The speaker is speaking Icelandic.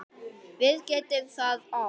Við gerum það oft.